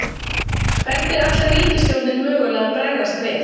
Hvernig ætlar ríkisstjórnin mögulega að bregðast við?